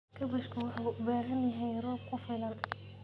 Kaabashka wuxuu u baahan yahay roob ku filan.